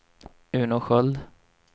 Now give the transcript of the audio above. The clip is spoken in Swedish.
Uno Sköld